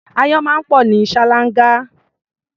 Áyán máa ń pọ̀ ní ṣáláńgá.